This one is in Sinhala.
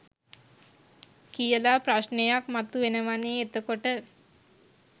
කියලා ප්‍රශ්නයක් මතු වෙනවනේ එතකොට